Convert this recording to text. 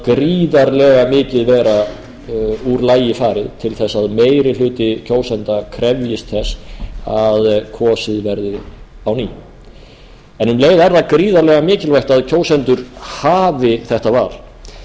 gríðarlega mikið vera úr lagi farið til þess að meiri hluti kjósenda krefjist þess að kosið verði á ný um leið er það gríðarlega mikilvægt að kjósendur hafi þetta